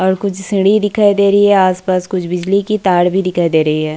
और कुछ सीढ़ीं दिखाई दे रही है आस-पास कुछ बिजली की तार भी दिखाए दे रही है।